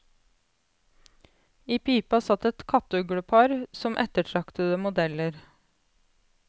I pipa satt et kattuglepar som ettertraktede modeller.